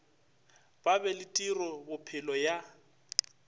ba be le tirobophelo ya